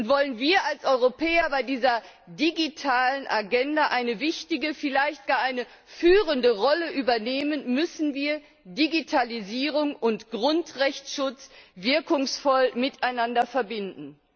Wollen wir als Europäer bei dieser digitalen Agenda eine wichtige, vielleicht gar eine führende Rolle übernehmen, müssen wir Digitalisierung und Grundrechteschutz wirkungsvoll miteinander verbinden.